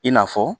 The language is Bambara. I n'a fɔ